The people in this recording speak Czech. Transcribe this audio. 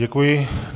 Děkuji.